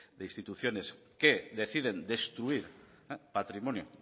de instituciones que deciden destruir patrimonio